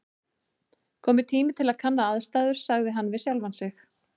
Kominn tími til að kanna aðstæður sagði hann við sjálfan sig.